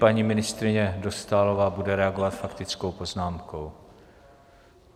Paní ministryně Dostálová bude reagovat faktickou poznámkou.